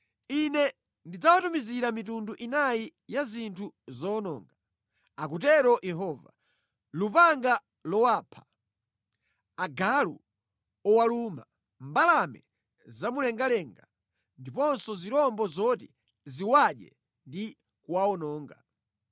“Ine ndidzawatumizira mitundu inayi ya zinthu zowononga,” akutero Yehova, “lupanga lowapha, agalu owaluma, mbalame zamumlengalenga ndiponso zirombo zoti ziwadye ndi kuwawononga.